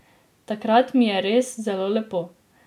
Takrat mi je res zelo lepo.